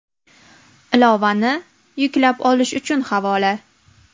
Ilovani yuklab olish uchun havola: .